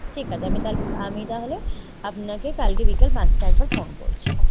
ঠিক আছে আমি তাহলে আমি তাহলে আপনাকে বিকেল পাঁচটায় একবার phone করছি ।